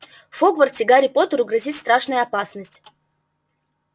в хогвартсе гарри поттеру грозит страшная опасность